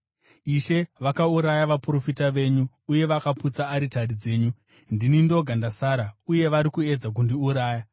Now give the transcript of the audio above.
“Ishe vakauraya vaprofita venyu uye vakaputsa aritari dzenyu; ndini ndoga ndasara, uye vari kuedza kundiuraya”?